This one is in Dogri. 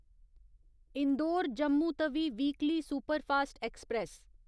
Indore Jammu Tawi weekly superfast express